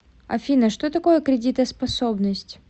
афина что такое кредитоспособность